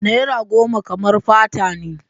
Naira goma kamar fata ne.